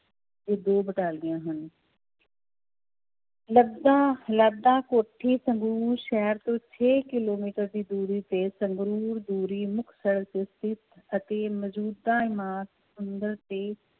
ਦੋ ਬਟਾਲੀਆਂ ਹਨ ਕੋਠੀ ਸੰਗਰੂਰ ਸ਼ਹਿਰ ਤੋਂ ਛੇ ਕਿੱਲੋਮੀਟਰ ਦੀ ਦੂਰੀ ਤੇ ਸੰਗਰੂਰ ਦੂਰੀ ਮੁਕਤਸਰ ਅਤੇ ਮੌਜੂਦਾ ਤੇ